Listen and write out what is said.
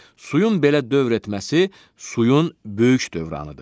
Suyun belə dövr etməsi suyun böyük dövranıdır.